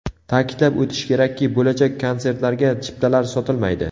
Ta’kidlab o‘tish kerakki, bo‘lajak konsertlarga chiptalar sotilmaydi.